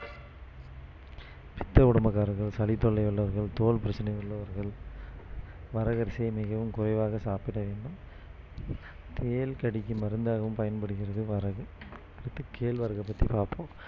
பித்த உடம்புகாரர்கள் சளித்தொல்லை உள்ளவர்கள் தோல் பிரச்சினை உள்ளவர்கள் வரகரிசி மிகவும் குறைவாக சாப்பிட வேண்டும் தேள் கடிக்கு மருந்தாகவும் பயன்படுகிறது வரகு இப்போ கேழ்வரகு பத்தி பாப்போம்